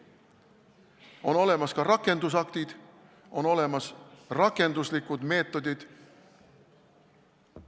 On olemas ka rakendusaktid, on olemas rakenduslikud meetodid.